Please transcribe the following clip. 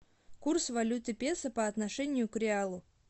курс валюты песо по отношению к реалу